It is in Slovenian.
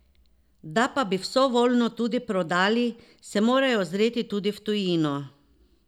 Da pa bi vso volno tudi prodali, se morajo ozreti tudi v tujino.